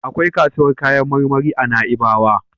Akwai kasuwar kayan marmari a Na'ibawa.